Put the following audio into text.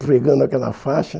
Pregando aquela faixa.